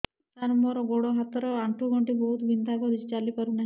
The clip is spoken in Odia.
ସାର ମୋର ଗୋଡ ହାତ ର ଆଣ୍ଠୁ ଗଣ୍ଠି ବହୁତ ବିନ୍ଧା କରୁଛି ଚାଲି ପାରୁନାହିଁ